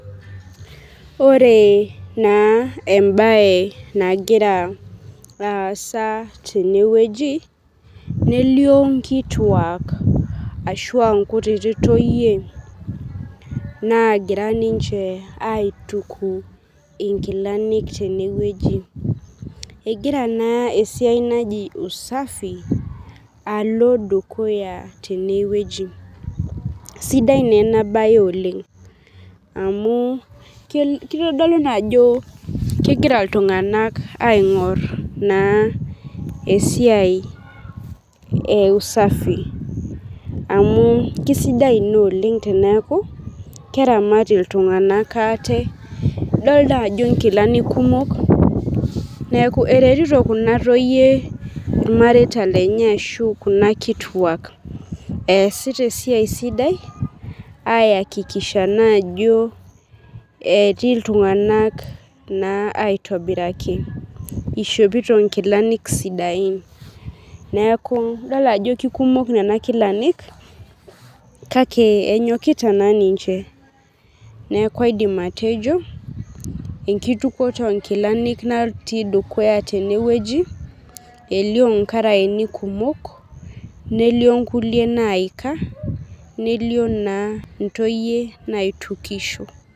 Ore na embae nagira aasa tenewueji nelio nkituak ashu ankutitik toyie nagira aituku nkilani tenewueji egira na esiai najibusafi alo dukuya tenewueji sidai na enabae oleng amu kitadamu ajobkegira ltunganak aingor esiai e usafi na kesidai oleng eneaku keramat ltunganak ate na kesidai ena amuneaku eretito kunatoyie irnareita lenye ashu kuna kituak easita esiai sidai aiakikisha ajo etii ltunganak aitobiraki eishopito nkilani sidain idolita ajo ishopito nkilani sidain kakebenyokita na ninche neaku aidim atejo enkitukoto onkilani natii dukuya tenewueji nalio nkaraeni kumok nelio nkulie naika nelio ntoyie naitukisho.